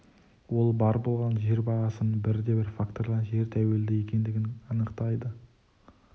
ол бар болғаны жер бағасының бірде бір фактордан жер тәуелді екендігін анықтады